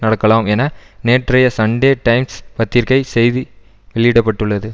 நடக்கலாம் என நேற்றைய சண்டே டைம்ஸ் பத்திரிகை செய்தி வெளியிட பட்டுள்ளது